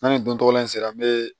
N'a ni don tɔgɔla in sera n be